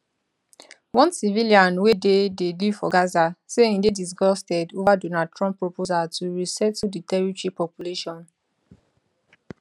one civilian wey dey dey live for gaza say im dey disgusted over donald trump proposal to resettle di territory population